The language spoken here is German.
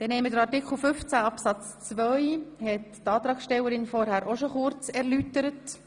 Die Antragstellerin hat den Antrag zu Artikel 15 Absatz 2 ebenfalls bereits erläutert.